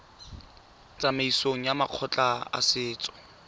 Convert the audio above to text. tsamaisong ya makgotla a setso